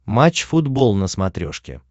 матч футбол на смотрешке